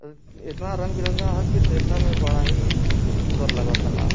एतना रंग बिरंगा ह कि देख में बड़ा ही सुंदर लागत हला।